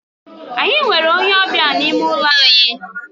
Anyị nwere onye ọbịa n'ime ụlọ anyị.